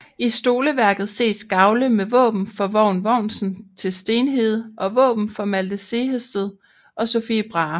I stoleværket ses gavle med våben for Vogn Vognsen til Stenhede og våben for Malte Sehested og Sophie Brahe